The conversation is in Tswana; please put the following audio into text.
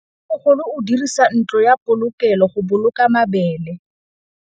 Mmêmogolô o dirisa ntlo ya polokêlô, go boloka mabele.